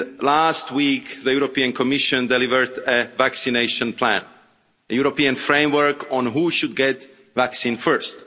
Last week, the European Commission delivered a vaccination plan, a European framework on who should get the vaccine first.